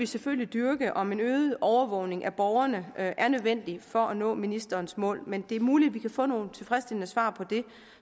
selvfølgelig dyrke om en øget overvågning af borgerne er er nødvendig for at nå ministerens mål men det er muligt at vi kan få nogle tilfredsstillende svar på det